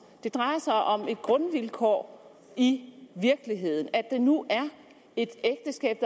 det drejer sig om et grundvilkår i virkeligheden altså at det nu er et ægteskab